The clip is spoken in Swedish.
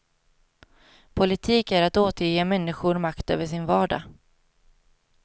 Politik är att återge människor makt över sin vardag.